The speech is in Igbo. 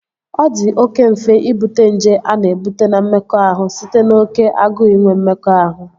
Ọ di oké mfe Ịbute nje a na-ebute na mmekọahụ site n'oké agụụ inwe mmekọahụ